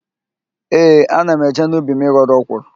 Ee, ana m eje n'ubi m ịghọrọ ọkwụrụ.